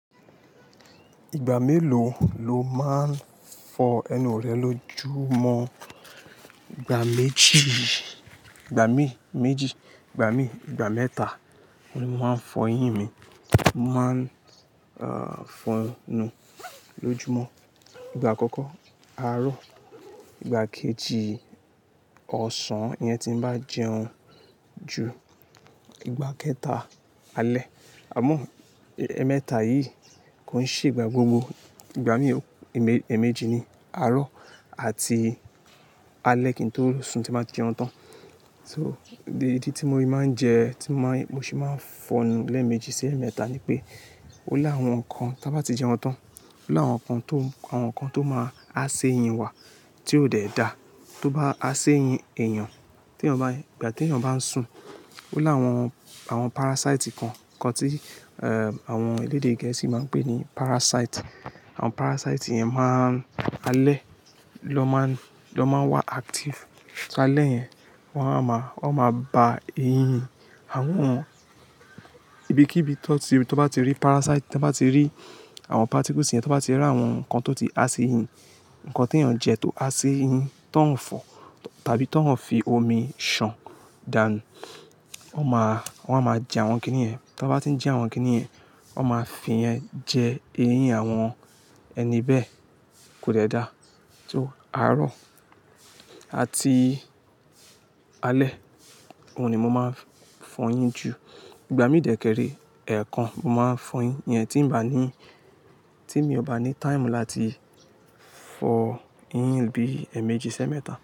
Ìgbà mélòó ló máa ń fọ ẹnu rẹ lójúmọ́? Ìgbà méjì, ìgbà mí méjì, ìgbà mí ìgbà mẹ́ta ni mo máa ń fọ eyín mi. Mo máa ń fọ enu lójúmọ́. Ìgbà àkọ́kọ́, àárọ̀. Ìgbà kejì, ọ̀sán. Iyẹn tí ń bá jẹun jù. Ìgbà kẹta, alẹ́. Àmọ́ ẹ mẹ́ta yìí kò ń ṣe ìgbà gbogbo. Ìgbà mí èmejì ni àárọ̀ àti alẹ́ kí n tó lo sùn tí ba ti jẹun tán. So ìdí tí mo máa ń jẹ, tí mo máa mo sì máa ń fọnu lẹ́ẹ̀mejì sí ẹ́ẹ̀mẹ́ta ni pé ó l'áwọn kan tí won bá ti jẹun tán. Ó l'áwọn nkan tó àwọn nkan tó máa há si eyín wa, tí ó dẹ̀ dá. Tó bá ha si eyín èèyàn, tí èèyàn bá n ìgbà tí èèyàn bá ń sùn, ó láwọn, àwọn parasite kan, nkan tí eh àwọn elédè gẹ̀ẹ́sì má ń pè ní parasite. Àwọn parasite yẹn má ń alẹ́ ni won ma ń, ni won má ń wà active. So, alẹ́ yẹn wọ́n á máa wọ́n má ba eyín àwọn ibikíbi tí ó bá ti rí parasite, tí wọ́n bá ti rí àwọn particles yẹn, tí wọ́n bá ti rí àwọn nkan tó ti há sí eyín, nkan tí èèyàn jẹ tó há sí eyín, ti won fọ tàbí ti won fi omi ṣàn dànù. Wọ́n máa wọ́n á máa je àwọn kiní yẹn. Tí wọ́n bá ti ń jẹ àwọn kíní yẹn, wọ́n ma fi jẹ eyín àwọn ẹni bẹ́ẹ̀ kò dẹ̀ dá. So àárọ̀ àti alẹ́, òun ni mo máa ń fọ eyín jù. Ìgbà míi de ke re, èèkàn ni mo má ń fọ eyín. Iyẹn tí ń bá ní, tí mi ò bá ní time láti fọ eyín bí ẹ́ẹ̀mejì si eemẹ́ta.